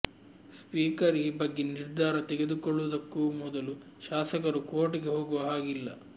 speaker ಈ ಬಗ್ಗೆ ನಿರ್ಧಾರ ತೆಗೆದುಕೊಳ್ಳುವುದಕ್ಕೂ ಮೊದಲು ಶಾಸಕರು ಕೋರ್ಟ್ಗೆ ಹೋಗುವ ಹಾಗಿಲ್ಲ